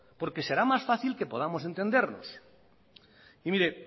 porque será más fácil que podamos entendernos y mire